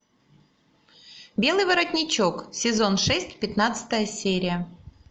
белый воротничок сезон шесть пятнадцатая серия